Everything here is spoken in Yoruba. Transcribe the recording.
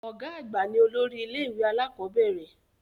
Ọ̀gá àgbà ní olórí ilẹ́-ìwé alakọ̀bẹ́ẹ́rẹ̀